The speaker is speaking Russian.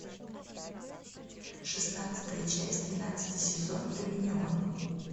шестнадцатая часть двенадцатый сезон доминион